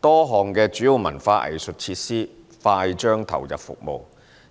多項主要文化藝術設施快將投入服務：